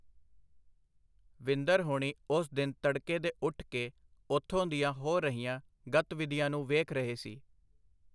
ਵਿੰਦਰ ਹੋਣੀ ਓਸ ਦਿਨ ਤੱੜਕੇ ਦੇ ਉੱਠ ਕੇ ਉੱਥੋਂ ਦੀਆਂ ਹੋ ਰਹੀਆਂ ਗਤਵਿਧੀਆਂ ਨੂੰ ਵੇਖ ਰਹੇ ਸੀ.